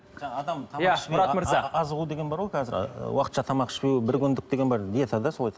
иә мұрат мырза азығу деген бар ғой қазір уақытша тамақ ішпеу бір күндік деген бар диета да солай